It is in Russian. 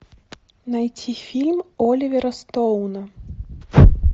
найти фильм оливера стоуна